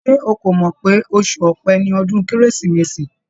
Ṣé ó kò mọ̀ pé oṣù Ọpẹ ni ọdún Kérésìmesì?